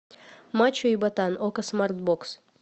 мачо и ботан окко смарт бокс